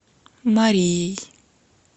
марией